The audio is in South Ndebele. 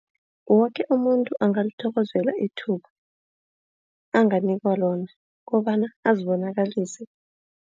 Woke umuntu angalithokozela ithuba anganikelwa lona kobana azibonakalise.